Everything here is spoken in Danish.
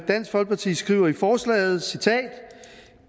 dansk folkeparti skriver i forslaget